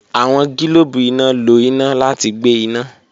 Awọn gilobu ina lo ina lati gbe ina.